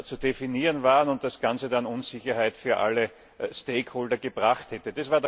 zu definieren waren und das Ganze dann Unsicherheit für alle stakeholder gebracht hätte.